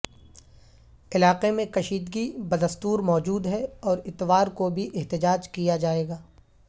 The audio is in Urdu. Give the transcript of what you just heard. علاقے میں کشیدگی بدستور موجود ہے اور اتوار کو بھی احتجاج کیا جائے گا